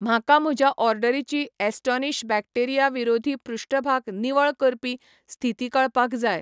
म्हाका म्हज्या ऑर्डरीची ॲस्टोनिश बॅक्टेरिया विरोधी पृष्ठभाग निवळ करपी स्थिती कळपाक जाय